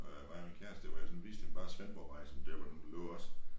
Øh mig og min kæreste hvor jeg sådan viste hende bare Svendborgvej sådan der hvor den lå også